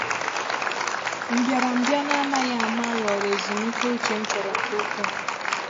Mbịarambịa n’amaghị ama ghọrọ ezumike ụ́chè m chọ̀rọ̀ nke ukwuu.